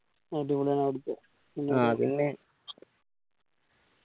അടിപൊളിയാണ് അവിടുത്തെ